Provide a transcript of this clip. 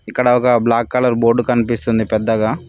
ఇక్కడ ఒక black colour board కనిపిస్తుంది పెద్దగా.